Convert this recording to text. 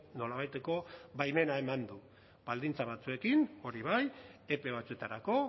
nolabaiteko baimena eman du baldintza batzuekin hori bai epe batzuetarako